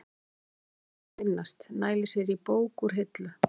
Hún lætur sér fátt um finnast, nælir sér í bók úr hillu.